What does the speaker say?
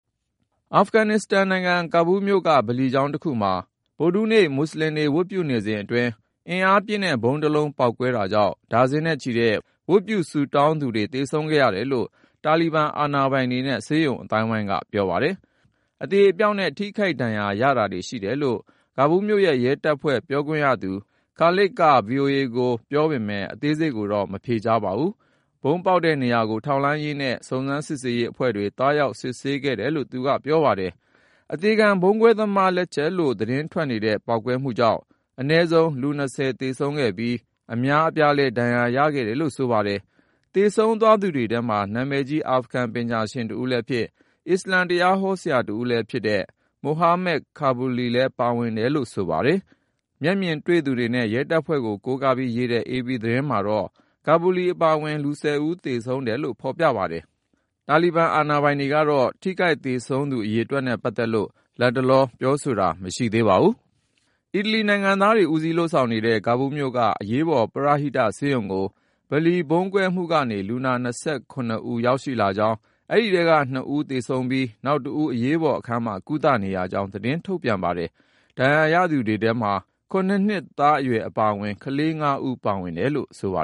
အာဖဂန်နစ္စတန်နိုင်ငံ ကာဘူးမြို့က ဗလီကျောင်းတခုမှာ ဗုဒ္ဓဟူးနေ့ မူဆလင်တွေ ဝတ်ပြုနေစဉ်အတွင်း အင်အားပြင်း ဗုံးတလုံးပေါက်ကွဲ တာကြောင့် ဒါဇင်နဲ့ချီတဲ့ ဝတ်ပြုဆုတောင်းသူတွေ သေဆုံးခဲ့ရတယ်လို့ တာလီဘန်အာဏာပိုင်တွေနဲ့ ဆေးရုံအသိုင်းအဝိုင်းက ပြောပါတယ်။ အသေအပျောက်နဲ့ ထိခိုက်ဒဏ်ရာ ရတာတွေ ရှိတယ်လို့ ကာဘူးမြို့ရဲတပ်ဖွဲ့ ပြောခွင့်ရသူ Khalid Zadran က VOA ကို ပြောပေမယ့် အသေးစိတ်ကိုတော့ မဖြေကြားပါဘူး။ ဗုံးပေါက်တဲ့နေရာကို ထောက်လှမ်းရေးနဲ့ စုံစမ်းစစ်ဆေးရေးအဖွဲ့တွေ သွားရောက်စစ်ဆေးခဲ့တယ်လို့ သူက ပြောပါတယ်။ အသေခံဗုံးခွဲသူသမား လက်ချက်ကြောင့်လို့ သတင်းတွေထွက်နေတဲ့ ပေါက်ကွဲမှုကြောင့် အနည်းဆုံး လူ(၂၀) သေဆုံးခဲ့ပြီး အများအပြားလည်း ဒဏ်ရာရခဲ့တယ်လို့ ဆိုပါတယ်။ သေဆုံးသွားသူတွေထဲမှာ နာမည်ကြီး အာဖဂန် ပညာရှင်တဦးလည်းဖြစ်၊ အစ္စလာမ်တရားဟောဆရာလည်းဖြစ်တဲ့ Maulvi Amir Mohammad Kabuli လည်း ပါဝင်တယ်လို့ ဆိုပါတယ်။ မျက်မြင်တွေ့သူတွေနဲ့ ရဲတပ်ဖွဲ့ကို ကိုးကားပြီးရေးတဲ့ AP သတင်းမှာတော့ Kabuli အပါအဝင် လူ(၁၀)ဦး သေဆုံးတယ်လို့ ဖေါ်ပြပါတယ်။ တာလီဘန် အာဏာပိုင်တွေကတော့ ထိခိုက်သေဆုံးသူ အရေအတွက်နဲ့ ပတ်သက်လို့ လတ်တလောပြောဆိုတာ မရှိသေးပါဘူး။ အီတလီနိုင်ငံသားတွေ ဦးစီးလုပ်ဆောင်နေတဲ့ ကာဘူးမြို့က အရေးပေါ် ပရဟိတ ဆေးရုံကို ဗလီဗုံးကွဲမှုကနေ လူနာ(၂၇)ဦးရောက်လာကြောင်း ၊ အဲဒီထဲက (၂)ဦး သေဆုံးပြီး နောက်တဦးက အရေးပေါ်အခန်းမှာ ကုသနေရကြောင်း သတင်းထုတ်ပြန်ပါတယ်။ ဒဏ်ရာရသူတွေထဲမှာ ၇ နှစ်သားအရွယ် အပါအဝင် ကလေး(၅)ဦးပါဝင်တယ်လို့ ဆိုပါ